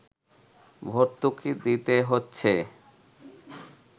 ভর্তুকি দিতে হচ্ছে